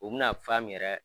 U bɛna fan min yɛrɛ